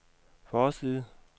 forside